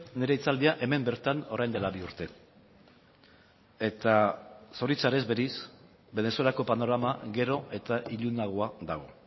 nire hitzaldia hemen bertan orain dela bi urte eta zoritxarrez berriz venezuelako panorama gero eta ilunagoa dago